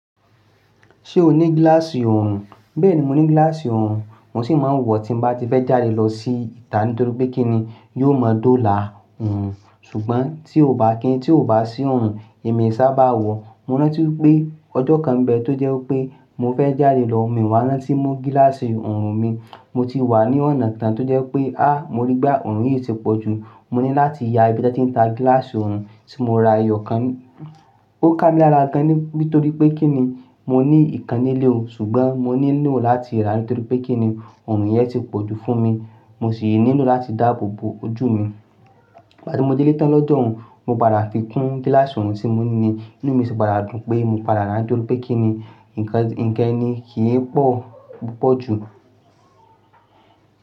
Ṣé o ní gíláàsì ọrùn? Bẹ́ẹ̀ni, mo ní gíláàsì ọrùn, mo sì máa ń wọ tí mo bá ti fẹ́ jáde lọ sí ìta nítorí pé kí ni yó mọ̀ dó là ọrùn. Ṣùgbọ́n tí ò bá kí n tí ò bá sí ọrùn, èmi i sábà wọ̀. Mo rántí wipé ọjọ́ kan bẹ́ẹ̀ tó jẹ́ wipé mo fẹ́ jáde lọ, mii wá rántí mú gíláàsì ọrùn mi, mo ti wà ní ọ̀nà tán tó jẹ́ wipé, háá mo rí gbá ọrùn yìí ti pọ̀ jù. Mo ní láti ya ibi tí wọ́n ti ń ta gíláàsì ọrùn tí mo ra eyo kan. Ó ká mi lára gan ní nítorí pé kí ni mo ní ìkan nílé o, ṣùgbọ́n mo nílò láti rà á nítorí pé kí ni ọrùn yẹn ti pọ̀ jù fún mi. Mo sì nílò láti dáàbò bo ojú mi. Ìgbà tí mo délé tan lọ́jọ́ ọ̀hún, mo padà fi kún gíláàsì ọrùn tí mo ní ni inú mi sì padà dun pé mo padà rà nítorí pé kí ni ǹnkan ǹnkan ni kì í pọ̀ púpọ̀ jù.